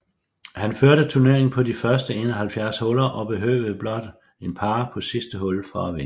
Han førte turneringen på de første 71 huller og behøvede blot en par på sidste hul for at vinde